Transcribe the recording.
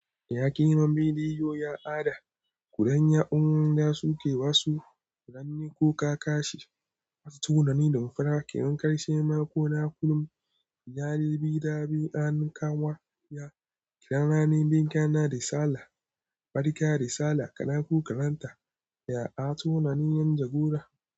Yaƙi naman biliyoyi, ya ad'a. Kuɗan ya'uwan da suke wasu. Furanni ko ka kashe. Wasu tunani da mafara ke. In karshe ma ko na kullum. Yare bi da bi a nikawa. Ya kira rani mun gaisa da sallah. Barka da Sallah, Allah maimaita Ya'a tunanin yan jagora.